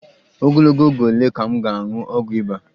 Ogologo oge ole ka m ga-aṅụ ọgwụ ịba?